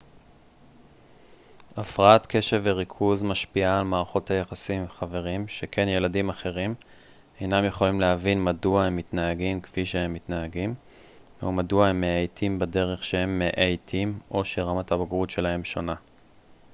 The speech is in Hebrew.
הפרעת קשב וריכוז משפיעה על מערכות היחסים עם חברים שכן ילדים אחרים אינם יכולים להבין מדוע הם מתנהגים כפי שהם מתנהגים או מדוע הם מאייתים בדרך שהם מאייתים או שרמת הבגרות שלהם שונה